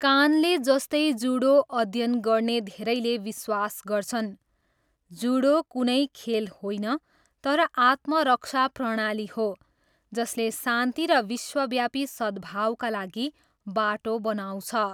कानले जस्तै जुडो अध्ययन गर्ने धेरैले विश्वास गर्छन्, जुडो कुनै खेल होइन तर आत्मरक्षा प्रणाली हो जसले शान्ति र विश्वव्यापी सद्भावका लागि बाटो बनाउँछ।